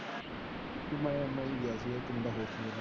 ਮੈ ਈ ਗਿਆ ਸੀ ਗਾ। ਇੱਕ ਮੁੰਡਾ ਹੋਰ ਸੀ।